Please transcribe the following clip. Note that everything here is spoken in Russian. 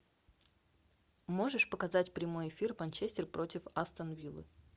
можешь показать прямой эфир манчестер против астон виллы